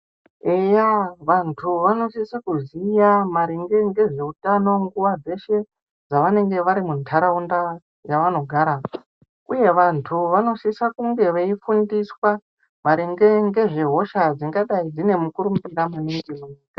Eya vantu vano sisa kuziya maringe ngezve utano nguva dzeshe dzavanenge vari mu ndaraunda yavano gara uye vantu vano sisa kunge vei fundiswa maringe nge zve hosha dzinga dai dzine mukurumbira maningi .